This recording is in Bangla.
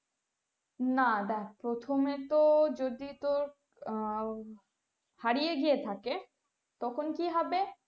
না দেখ প্রথমে তো যদি তোর আহ হারিয়ে গিয়ে থাকে তখন কি হবে।